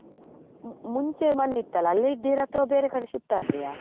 ಮು~ ಮುಂಚೆ ಮನೆ ಇತ್ತಲ್ಲ ಅಲ್ಲೇ ಇದ್ದೀರಾ ಅಥವಾ ಬೇರೆ ಕಡೆ shift ಆದ್ರಿಯ?